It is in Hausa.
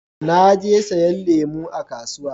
Na je siyan lemu a kasuwa